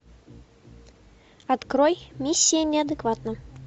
открой миссия неадекватна